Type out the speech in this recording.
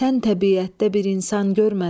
Sən təbiətdə bir insan görmədim.